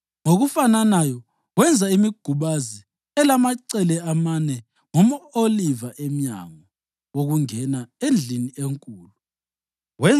Ngokufananayo wenza imigubazi elamacele amane ngomʼoliva emnyango wokungena endlini enkulu.